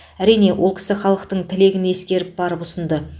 әрине ол кісі халықтың тілегін ескеріп барып ұсынды